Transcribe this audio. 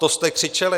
To jste křičeli?